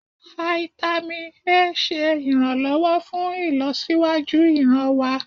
Fáítámì A ṣe iranlọwọ fún ìlọsíwájú ìran wa.